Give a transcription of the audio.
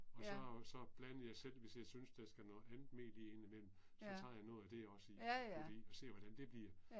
Og så så blander jeg selv hvis jeg synes der skal noget andet mel i indimellem, så tager jeg noget af det også i fordi og ser hvordan det bliver